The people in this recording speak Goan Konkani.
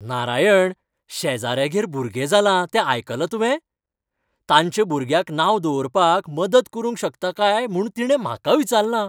नारायण, शेजाऱ्यागेर भुरगें जालां तें आयकलां तुवें? तांच्या भुरग्याक नांव दवरपाक मदत करूंक शकता काय म्हूण तिणें म्हाका विचारलां.